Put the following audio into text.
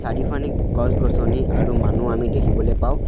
চাৰিওফানে গছ-গছনি আৰু মানুহ আমি দেখিবলৈ পাঁও।